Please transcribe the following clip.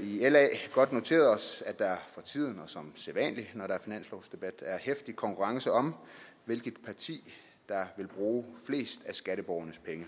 i la godt noteret os at der for tiden og som sædvanlig når der er finanslovsdebat er heftig konkurrence om hvilket parti der vil bruge flest af skatteborgernes penge